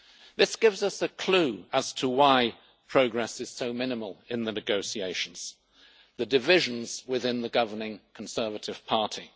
This gives us a clue as to why progress is so minimal in the negotiations the divisions within the governing Conservative Party.